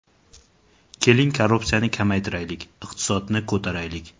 Keling, korrupsiyani kamaytiraylik, iqtisodni ko‘taraylik.